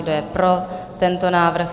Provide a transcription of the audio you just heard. Kdo je pro tento návrh?